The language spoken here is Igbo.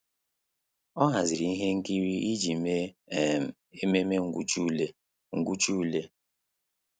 Há hàzị̀rị̀ ihe nkiri iji mèé um ememe ngwụcha ule. ngwụcha ule.